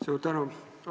Suur tänu!